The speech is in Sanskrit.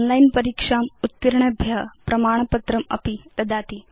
ओनलाइन् परीक्षाम् उत्तीर्णेभ्य प्रमाणपत्रमपि ददाति